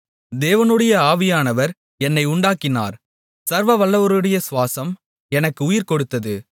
தேவனுடைய ஆவியானவர் என்னை உண்டாக்கினார் சர்வவல்லவருடைய சுவாசம் எனக்கு உயிர்கொடுத்தது